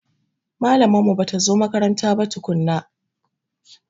Malamar mu bata zo makaranta ba tukunna.